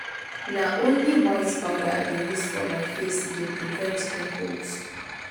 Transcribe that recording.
na only white powder i dey use for my face e dey prevent pimples.